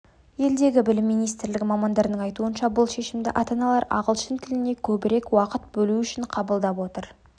елдегі білім министрлігі мамандарының айтуынша бұл шешімді ата-аналар ағылшын тіліне көбірек уақыт бөлу үшін қабылдап отыр